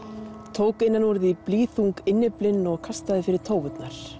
tók innan úr því innyflin og kastaði fyrir